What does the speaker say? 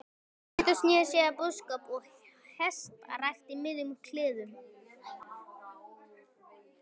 Pétur sneri sér að búskap og hestarækt í miðjum klíðum.